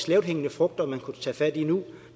lavthængende frugter man kunne tage fat i nu